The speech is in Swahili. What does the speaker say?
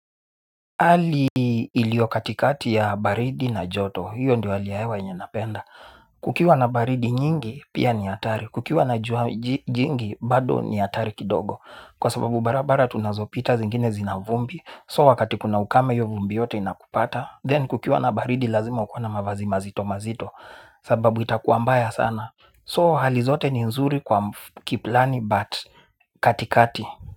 Hali ilio katikati ya baridi na joto hiyo ndio hali ya hewa yenye napenda kukiwa na baridi nyingi pia ni hatari kukiwa na jingi bado ni hatari kidogo kwa sababu barabara tunazo pita zingine zina vumbi so wakati kuna ukame hio vumbi yote inakupata then kukiwa na baridi lazima ukuwe na mavazi mazito mazito sababu itakuwa mbaya sana so halizote ni nzuri kwa kiplani bat katikati.